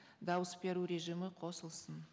дауыс беру режимі қосылсын